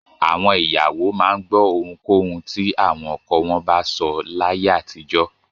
Àwọn ìyàwó máa ń gbọ́ ohunkóhun tí àwọn ọkọ wọn bá sọ láyé àtijọ́.